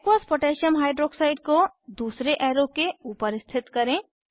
aqueous potassium hydroxide aqकोह को दूसरे एरो के ऊपर स्थित करें